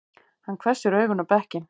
Hann hvessir augun á bekkinn.